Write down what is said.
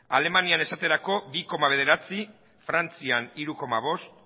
alemanian esate baterako bi koma bederatzi frantzian hiru koma bost